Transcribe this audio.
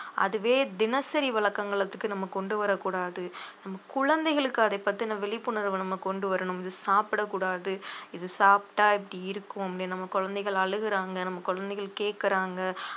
அதுவே தினசரி வழக்கங்களுக்கு நம்ம கொண்டு வரக் கூடாது நம்ம குழந்தைகளுக்கு அதைப் பத்தின விழிப்புணர்வை நம்ம கொண்டு வரணும் இது சாப்பிடக் கூடாது இது சாப்பிட்டா இப்படி இருக்கும் நம்ம குழந்தைகள் அழுகுறாங்க நம்ம குழந்தைகள் கேக்குறாங்க